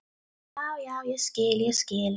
Já, já, ég skil, ég skil.